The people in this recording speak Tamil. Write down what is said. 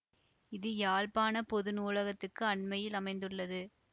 இது யாழ்ப்பாண பொது நூலகத்துக்கு அண்மையில் அமைந்துள்ளது